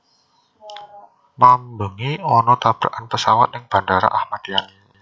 Mambengi ono tabrakan pesawat ning Bandara Ahmad Yani